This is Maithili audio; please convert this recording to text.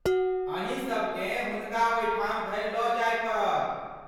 अहीं सबकेँ हुनका ओहिठाम धरि लऽ जाय पड़त।